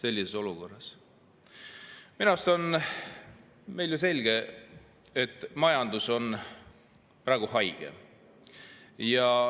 Minu arust on selge, et meie majandus on praegu haige.